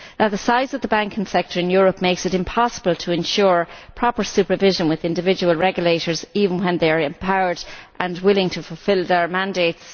The size of the banking sector in Europe makes it impossible to ensure proper supervision with individual regulators, even when they are empowered and willing to fulfil their mandates.